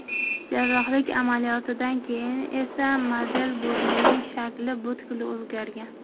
Jarrohlik amaliyotidan keyin esa model burnining shakli butkul o‘zgargan.